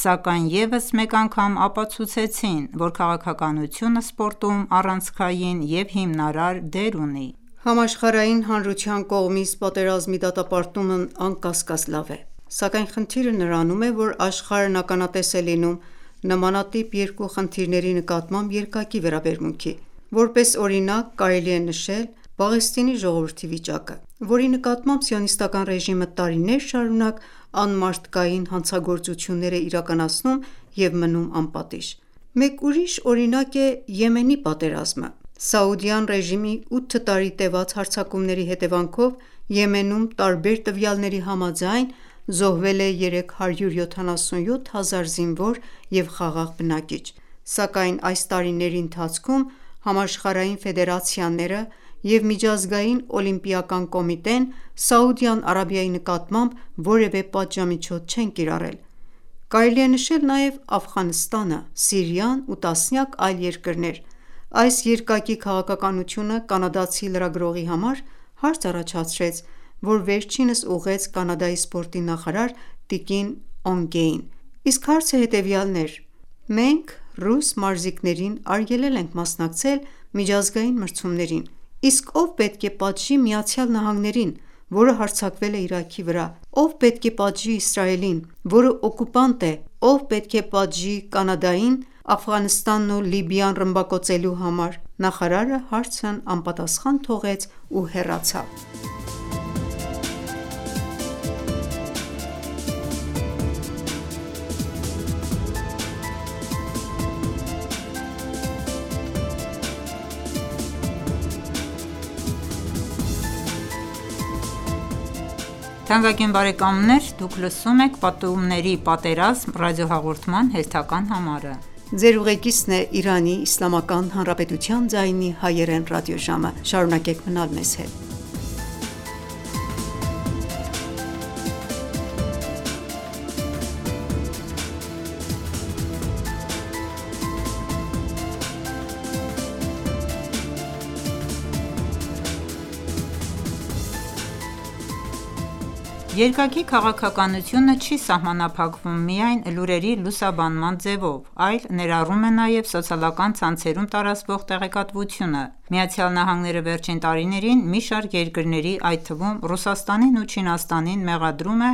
սակայն ևս մեկ անգամ ապացուցեցին, որ քաղաքականությունը սպորտում առանցքային և հիմնարար դեր ունի։ Համաշխարհային հանրության կողմից պատերազմի դատապարտումն անկասկած լավ է: Սակայն խնդիրը նրանում է, որ աշխարհն ականատես է լինում նմանատիպ երկու խնդիրների նկատմամբ երկակի վերաբերմունքի: Որպես օրինակ կարելի է նշել Պաղեստինի ժողովրդի վիճակը, որի նկատմամբ Սիոնիստական ռեժիմը տարիներ շարունակ անմարդկային հանցագործություններ է իրականացնում և մնում անպատիժ: Մեկ ուրիշ օրինակ է Եմենի պատերազմը: Սաուդյան ռեժիմի 8 տարի տևած հարձակումների հետևանքով Եմենում տարբեր տվյալների համաձայն զոհվել է 377 հազար զինվոր և խաղաղ բնակիչ: Սակայն այս տարիների ընթացքում համաշխարհային ֆեդերացիաները և Միջազգային օլիմպիական կոմիտեն Սաուդյան Արաբիայի նկատմամբ որևէ պատժամիջոց չեն կիրառել: Կարելի է նշել նաև Աֆղանստանը, Սիրիան ու տասնյակ այլ երկրներ: Այս երկակի քաղաքականությունը կանադացի լրագրողի համար հարց առաջացրեց, որը վերջինս ուղղեց Կանադայի սպորտի նախարար տկին Օնգեին: Իսկ հարցը հետևյալն էր. «Մենք ռուս մարզիկներին արգելել ենք մասնակցել միջազգային մրցումներին։ Իսկ ո՞վ պետք է պատժի ԱՄՆ-ին, որը հարձակվել է Իրաքի վրա: Ո՞վ պետք է պատժի Իսրայելին, որը օկուպանտ է: Ո՞վ պետք է պատժի Կանադային Աֆղանստանն ու Լիբիան ռմբակոծելու համար» Նախարարը հարցն անպատասխան թողեց ու հեռացավ: Երկակի քաղաքականությունը չի սահմանափակվում միայն լուրերի լուսաբանման ձևով, այլ ներառում է նաև սոցիալական ցանցերում տարածվող տեղեկատվությունը: ԱՄՆ-ն վերջին տարիներին մի շարք երկրների, այդ թվում՝ Ռուսաստանին ու Չինաստանին մեղադրում է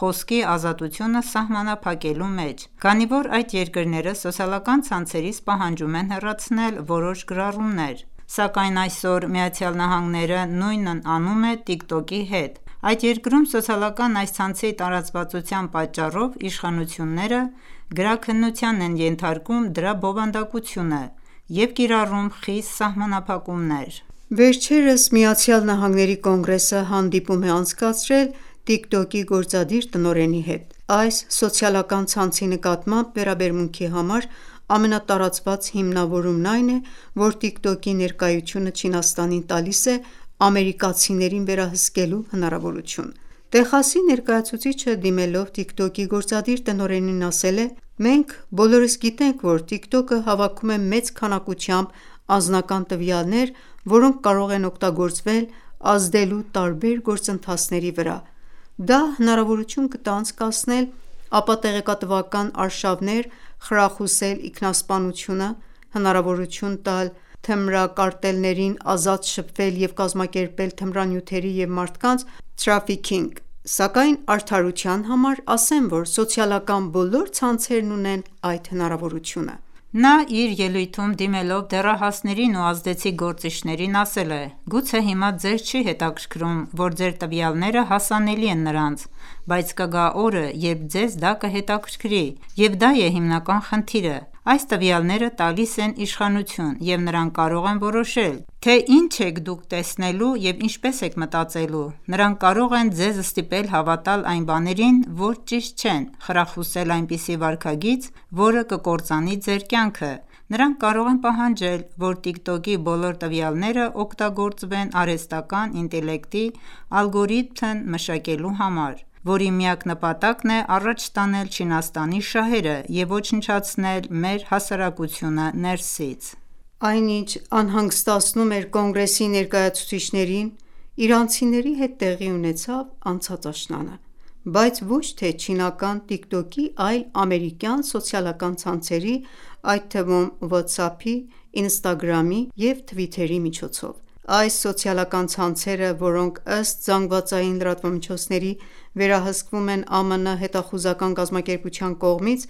խոսքի ազատությունը սահմանափակելու մեջ, քանի որ այդ երկրները սոցիալական ցանցերից պահանջում են հեռացնել որոշ գրառումներ: Սակայն այօր ԱՄՆ-ն նույնն անում է Tik Tok-ի հետ: Այդ երկրում սոցիալական այս ցանցի տարածվածության պատճառով իշխանությունները գրաքննության են ենթարկում դրա բովանդակությունը և կիրառում խիստ սահմանափակումներ: Վերջերս ԱՄՆ Կոնգրեսը հանդիպում է անցկացրել Tik Tok-ի գործադիր տնօրենի հետ։ Այս սոցիալական ցանցի նկատմամբ վերաբերմունքի համար ամենատարածված հիմնավորումն այն է, որ Tik Tok-ի ներկայությունը Չինաստանին տալիս է ամերիկացիներին վերահսկելու հնարավորություն: Տեխասի ներկայացուցիչը դիմելով Tik Tok-ի գործադիր տնօրենին ասել է. «Մենք բոլորս գիտենք, որ Tik Tok-ը հավաքում է մեծ քանակությամբ անձնական տվյալներ, որոնք կարող են օգտագործվել՝ ազդելու տարբեր գործընթացների վրա: Դա հնարավորություն կտա անցկացնել ապատեղեկատվական արշավներ, խրախուսել ինքնասպանությունը, հնարավորություն տալ թմրակարտելներին ազատ շփվել և կազմակերպել թմրանյութերի և մարդկանց թրաֆիքինգ: Սակայն արդարության համար ասեմ, որ սոցիալական բոլոր ցանցերն ունեն այդ հնարավորությունը»: Նա իր ելույթում դիմելով դեռահասներին ու ազդեցիկ գործիչներին, ասել է. «Գուցե հիմա ձեզ չի հետաքրքրում, որ ձեր տվյալները հասանելի են նրանց: Բայց կգա օրը, երբ ձեզ դա կհետաքրքրի, և դա է հիմնական խնդիրը: Այս տվյալները տալիս են իշխանություն և նրանք կարող են որոշել, թե ինչ եք դուք տեսնելու և ինչպես եք մտածելու: Նրանք կարող են ձեզ ստիպել հավատալ այն բաներին, որոնք ճիշտ չեն, խրախուսել այնպիսի վարքագիծ, որը կկործանի ձեր կյանքը: Նրանք կարող են պահանջել, որ Tik Tok-ի բոլոր տվյալները օգտագործվեն արհեստական ինտելեկտի ալգորիթմ մշակելու համար, որի միակ նպատակն է առաջ տանել Չինաստանի շահերը և ոչնչացնել մեր հասարակությունը ներսից»: Այն, ինչ անհանգստացնում էր Կոնգրեսի ներկայացուցիչներին, իրանցիների հետ տեղի ունեցավ անցած աշնանը, բայց ոչ թե չինական Tik Tok-ի, այլ ամերիկյան սոցիալական ցանցերի, այդ թվում՝ WhatsApp-ի, Instagram-ի, Twitter-ի միջոցով: Այս սոցիալական ցանցերը, որոնք ըստ ԶԼՄ-ների վերահսկվում են ԱՄՆ հետախուզական կազմակերպության կողմից,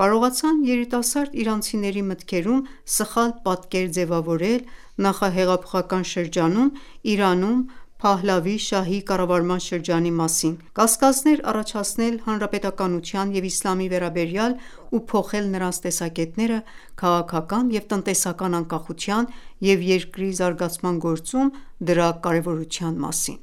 կարողացան երիտասարդ իրանցիների մտքերում սխալ պատկեր ձևավորել նախահեղափոխական շրջանում Իրանում Փահլավի շահի կառավարման շրջանի մասին, կասկածներ առաջացնել հանրապետականության և իսլամի վերաբերյալ ու փոխել նրանց տեսակետները քաղաքական և տնտեսական անկախության և երկրի զարգացման գործում դրա կարևորության մասին: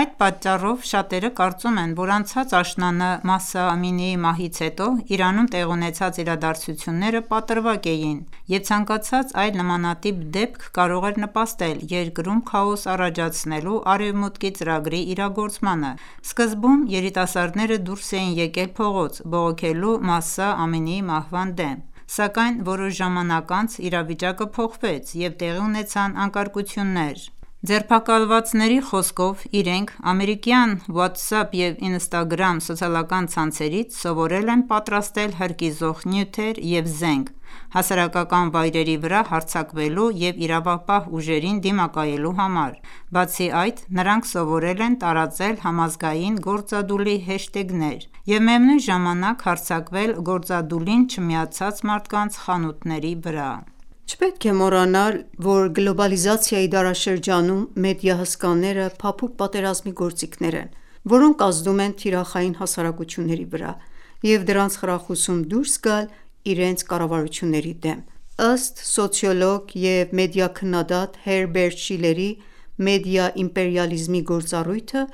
Այդ պատճառով շատերը կարծում են, որ անցած աշնանը Մահսա Ամինիի մահից հետո Իրանում տեղի ունեցած իրադարձություննեը պատրվակ էին և ցանկացած այլ նմանատիպ դեպք կարող էր նպաստել երկրում քաոս առաջացնելու Արևմտուտքի ծրագրի իրագործմանը: Սկզբում երիտասարդները դուրս էին եկել փողոց՝ բողոքելու Մահսա Ամինիի մահվան դեմ: Սակայն որոշ ժամանակ անց, իրավիճակը փոխվեց և տեղի ունեցան անկարգություններ: Ձերբակալվածների խոսքով՝ իրենք ամերիկյան WhatsApp և Instagram սոցիալական ցանցերից սովորել են պատրաստել հրկիզող նյութեր և զենք՝ հասարակական վայրերի վրա հարձակվելու և իրավապահ ուժերին դիմակայելու համար: Բացի այդ, նրանք սովորել են տարածել համազգային գործադուլի հեշթեգներ և միևնույն ժամանակ հարձակվել գործադուլին չմիացած մարդկանց խանութների վրա։ Չպետք է մոռանալ, որ գլոբալիզացիայի դարաշրջանում մեդիա հսկաները փափուկ պատերազմի գործիքներ են, որոնք ազդում են թիրախային հասարակությունների վրա և դրանց խրախուսում դուրս գալ իրենց կառավարությունների դեմ: Ըստ սոցիոլոգ և մեդիա քննադատ Հերբերտ Շիլլերի, մեդիա իմպերիալիզմի գործառույթը